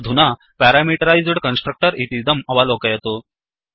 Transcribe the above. अधुना parameterized constructor इतीदम् अवलोकयतु